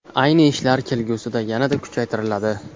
Ayni ishlar kelgusida yanada kuchaytiriladi.